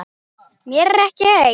Mér er ekki heitt.